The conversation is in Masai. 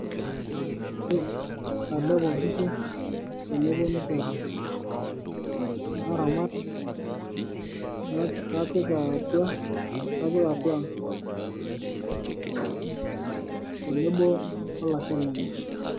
Ore atelepo inkishu teneponu teipa, naramat napik aatua ang' tenebo olasho lenye.